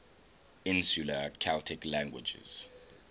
insular celtic languages